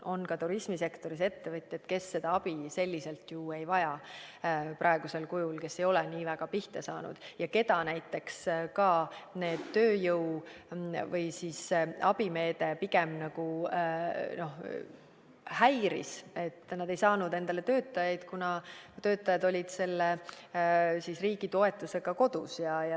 Ka turismisektoris on ettevõtjaid, kes seda abi praegusel kujul ju ei vaja, kes ei ole nii väga pihta saanud ja keda näiteks ka see abimeede pigem häiris, sest nad ei saanud endale töötajaid, kuna töötajad olid riigi toetusega kodus.